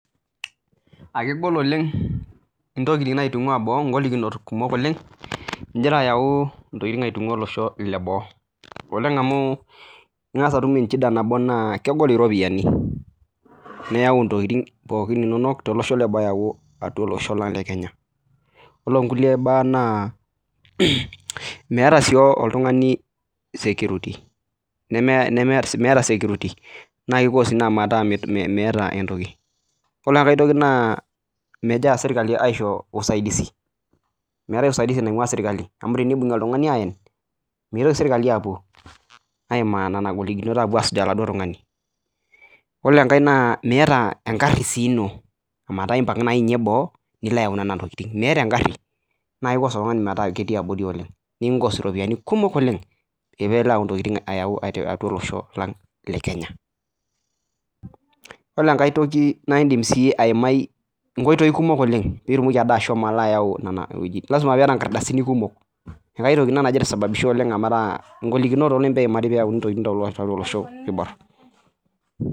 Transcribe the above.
Aa kegol oleng entokitin entokitin egira ayawu ntokitin entungua olosho lee boo oleng amu eng'as atum shida nabo naa kegol eropiani ore sii nkulie mbaa nemeeta oltung'ani security naa kicoz ena metaa meeta ore enkae toki naa kegira sirkali aishoru usaidizi meetae usaidizi naingua sirkali ayen mitoki sirkali apuo ayim Nena golikinot asuj oladuo tung'ani ore sii enkae Miata egari enoo metaa empang ninye mbaa nilo ayawu Nena tokitin naa kisho ena metaa ketii abori oleng nikinkos eropiani kumok oleng pee elo ayawu ntokitin atua ele Osho lang lee Kenya ore enkae toki naa edim ayimai enkoitoi kumok oleng pee etumoki ashomo ayawu Nena tokitin lasima pee eyata nkardasini kumok enkae toki nagira aisababisha olorere menoto golikinot kumok tiatua olosho oibor